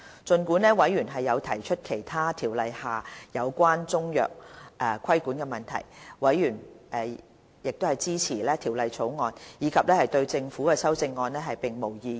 儘管有委員提出《條例》下其他有關中藥規管的問題，委員均支持《條例草案》，也沒有對政府提出的修正案表示異議。